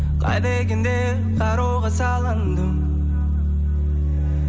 қайда екен деп қара ойға салындым